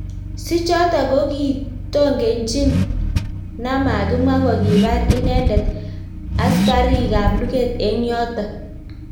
sichoto kokitongechin namakimwa kokibar inendet askarikabluget eng yoto